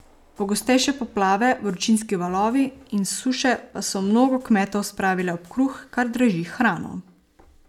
Pogostejše poplave, vročinski valovi in suše pa so mnogo kmetov spravile ob kruh, kar draži hrano.